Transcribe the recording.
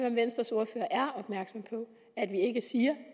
om venstres ordfører er opmærksom på at vi ikke siger